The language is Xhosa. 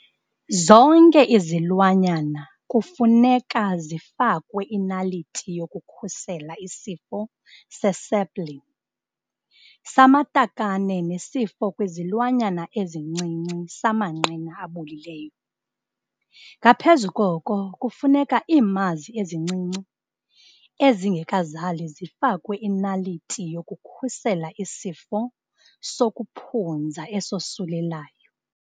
Zonke izilwanyana kufuneka zifakwe inaliti yokukhusela isifo sespleen, samatakane nesifo kwizilwanyana ezincinci samanqina abolileyo. Ngaphezu koko kufuneka iimazi ezincinci ezingekazali zifakwe inaliti yokukhusela isifo sokuphunza esosulelayo.